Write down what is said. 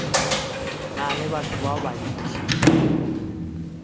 na le batho ba bantši